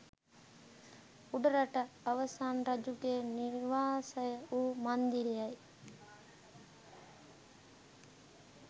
උඩරට අවසන් රජුගේ නිවාසය වූ මන්දිරයයි